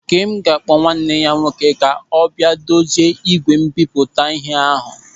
Ńkém ga-akpọ nwanne ya nwoke kà ọ bịa ma dozie ígwè mbipụta ịhe ahụ.